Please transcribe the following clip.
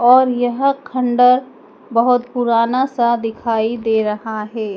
और यह खंडर बहोत पुराना सा दिखाई दे रहा है।